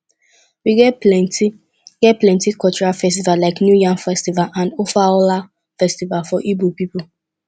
we get plenty get plenty cultural festivals like new yam festival and ofoala festival for igbo people